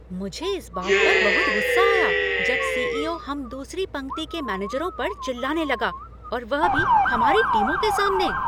मुझे इस बात पर बहुत गुस्सा आया जब सी.ई.ओ. हम दूसरी पंक्ति के मैनेजरों पर चिल्लाने लगा और वह भी हमारी टीमों के सामने।